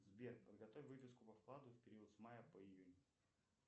сбер подготовь выписку по вкладу в период с мая по июнь